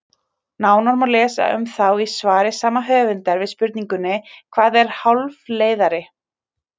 Nánar má lesa um þá í svari sama höfundar við spurningunni Hvað er hálfleiðari?